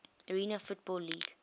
arena football league